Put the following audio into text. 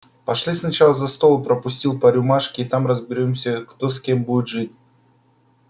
пошли сначала за стол пропустил по рюмашке а там и разберёмся кто с кем будет жить